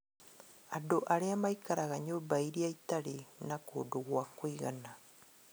Andũ arĩa maikaraga nyũmba irĩa itarĩ na kũndũ gwa kũigana